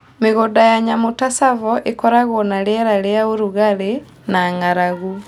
Mĩgũnda ya nyamũ ta Tsavo ĩkoragwo na rĩera rĩa ũrugarĩ na ng'aragu.